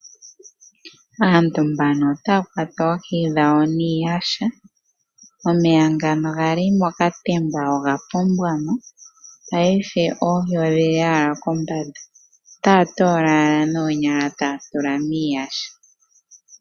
Aantu mbano otaya kwata oohi dhawo niiyasha, omeya ngano gali mokatemba oga pombwamo paife oohi odhili owala kombanda otaya toola owala oohi noonyala taye dhitula miiyasha.